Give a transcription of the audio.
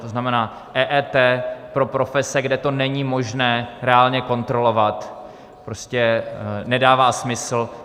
To znamená, EET pro profese, kde to není možné reálně kontrolovat, prostě nedává smysl.